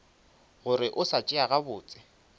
gore o sa tšea gabotse